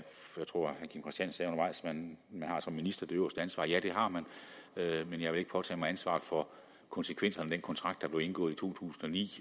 man som minister har det øverste ansvar ja det har man men jeg vil ikke påtage mig ansvaret for konsekvenserne af den kontrakt der blev indgået i to tusind og ni